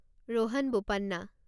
Rohan Bopanna